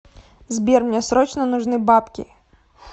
сбер мне срочно нужны бабки